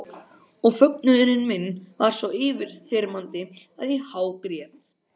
Og fögnuður minn varð svo yfirþyrmandi að ég hágrét.